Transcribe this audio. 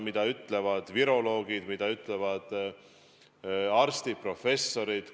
Mida ütlevad viroloogid, mida ütlevad arstid, professorid?